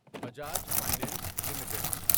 Bajaj finance limited